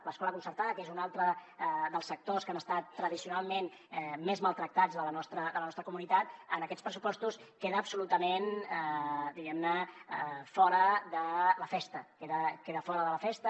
l’escola concertada que és un altre dels sectors que han estat tradicionalment més maltractats de la nostra comunitat en aquests pressupostos queda absolutament diguem ne fora de la festa queda fora de la festa